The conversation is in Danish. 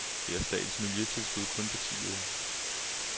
Her er statens miljøtilskud kun på ti øre.